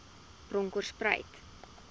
bronkhortspruit